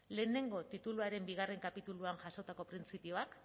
lehenengo tituluaren bigarrena kapituluan jasotako printzipioak